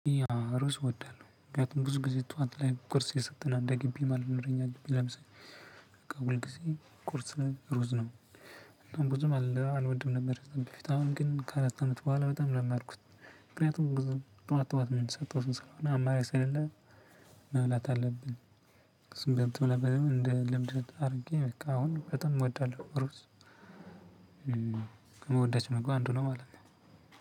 ሩዝ ወዳለው ምክንያቱም ብዙ ጊዜ ጠዋት ላይ ቁርስ የሰጠና እንደ ግቢ ማለት ነው ለምሳሌ በቃ ሁል ጊዜ ቁርስ ነው ሩዝ ነው። ብዙም አልወድም ነበር ይሄን በፊት አሁን ግን ከአራት አመት በኋላ በጣም ለመድኩት። ምክንያቱም ጠዋት ጠዋት የምትሰጠው ሰው አማራጭ ስለሌለ። መብላት አለብን። ስምንት ነበር እንደ ልብስ አድርጌ በቃ አሁን በጣም እወዳለሁ ሩዝ ከምወዳቸው ምግቦች አንዱ ነው ማለት ነው።